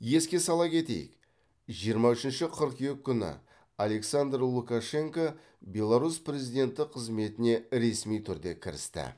еске сала кетейік жиырма үшінші қыркүйек күні александр лукашенко беларусь президенті қызметіне ресми түрде кірісті